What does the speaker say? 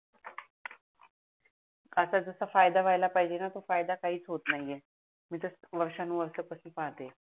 आता जसा फायदा व्हायला पाहिजे णा तो फायदा काहीच होत नाही मी तर वर्षानु वर्ष तसच पाहाते